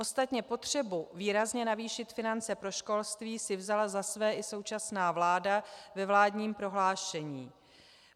Ostatně potřebu výrazně navýšit finance pro školství si vzala za své i současná vláda ve vládním prohlášení.